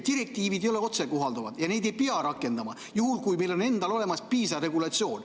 Direktiivid ei ole otsekohalduvad ja neid ei pea rakendama, juhul kui meil endal on olemas piisav regulatsioon.